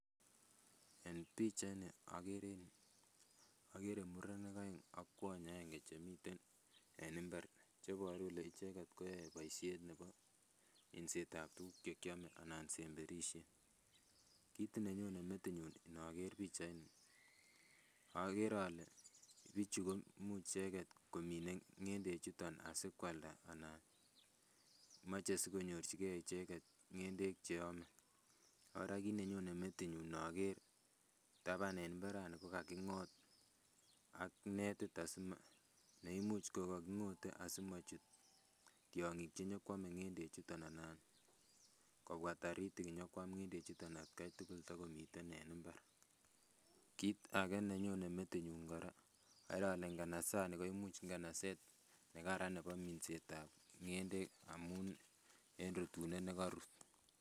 En pichait ni okere en yuu okere murenik oeng ak kwony agenge chemiten en mbar cheboru kole icheket koyoe boisiet nebo minset ab tuguk chekiome anan semberisiet. Kit nenyone metinyun inoker pichait ni okere ole bichu komii icheket komine ng'endek chuton asikoalda ana moche sikonyorchigee icheket ng'endek cheome. Kora kit nenyone metinyun inoker taban en mbarani kokaking'ot ak netit asimo neimuch kokaking'ote asimochut tiong'ik chenyokoame ng'endek chuton anan kobwa taritik nyokoam ng'endek chuton atkai tugul togomiten en mbar. Kit age nenyone metinyun kora okere ole nganasani koimuch nganaset nekaran nebo minset ab ng'endek amun en rutunet nekorut